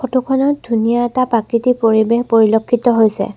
Photo খনত ধুনীয়া এটা প্ৰাকৃতিক পৰিৱেশ পৰিলক্ষিত হৈছে।